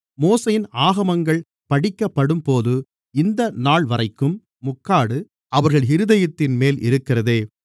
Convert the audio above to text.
மோசேயின் ஆகமங்கள் படிக்கப்படும்போது இந்தநாள் வரைக்கும் முக்காடு அவர்கள் இருதயத்தின்மேல் இருக்கிறதே